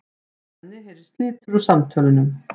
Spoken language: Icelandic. Svenni heyrir slitur úr samtölunum.